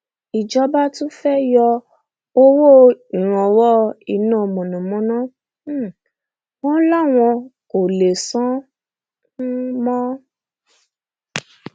ìjọba tún fẹẹ yọ owó ìrànwọ iná mọnàmọná um wọn láwọn kò lè san án um mọ